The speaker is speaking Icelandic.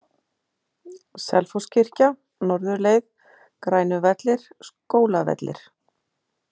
Selfosskirkja, Norðurleið, Grænuvellir, Skólavellir